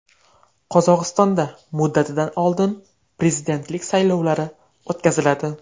Qozog‘istonda muddatidan oldin prezidentlik saylovlari o‘tkaziladi .